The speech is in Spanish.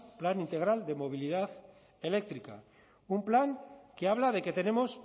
plan integral de movilidad eléctrica un plan que habla de que tenemos